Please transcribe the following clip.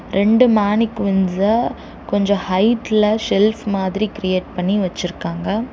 ரெண்டு மேனிகுயின்ஸ்ஸ கொஞ்ச ஹைட்ல செல்ஃப் மாதிரி கிரியேட் பண்ணி வச்சுருக்காங்க.